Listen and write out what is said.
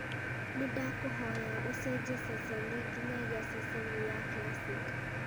nĩ ndakũhoya ũcenjie ceceni nginyagia ceceni ya classic